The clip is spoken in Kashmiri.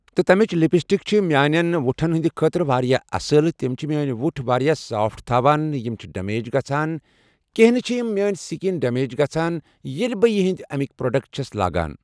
تہٕ تِمچ لپسٹک چھ میانٮ۪ن وُٹھن ہنٛد خٲطرٕ واریاہ اصل تم چھ میٲنۍ وُٹھۍ واریاہ سافٹ تھاوان یم چھ ڈمیج گژھان کیٚنٛھہ نہِ چھ یم میٲنۍ سکن ڈمیج گژھان ییٚلہِ بہٕ یہِ یِم امیکۍ پروڈکٹ چھٔس لگاوان